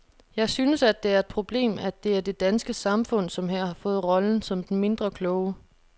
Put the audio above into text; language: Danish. Jeg synes, at det er et problem, at det er det danske samfund, som her har fået rollen som den mindre kloge.